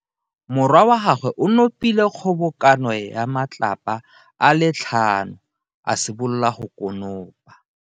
Morwa wa gagwe o nopile kgobokano ya matlapa a le tlhano, a simolola go konopa.